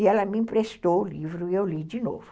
E ela me emprestou o livro e eu li de novo.